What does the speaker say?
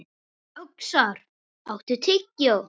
Öxar, áttu tyggjó?